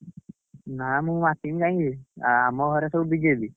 ନା ମୁଁ ମାତିବି କାହିଁକି ବେ, ଆଉ ଆମ ଘରେ ସବୁ BJP ।